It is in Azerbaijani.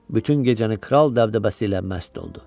Bütün gecəni kral dəbdəbəsi ilə məst oldu.